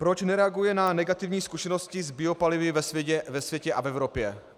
Proč nereaguje na negativní zkušenosti s biopalivy ve světě a v Evropě?